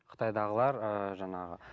қытайдағылар ыыы жаңағы